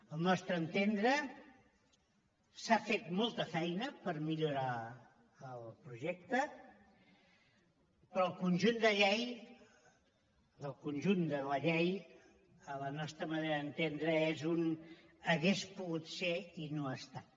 al nostre entendre s’ha fet molta feina per millorar el projecte però el conjunt de llei el conjunt de la llei a la nostra manera d’entendre és un hauria pogut ser i no ha estat